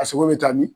A sogo bɛ taa min